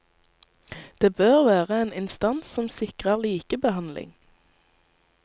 Det bør være en instans som sikrer likebehandling.